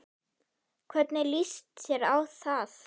Hvernig líst þér á það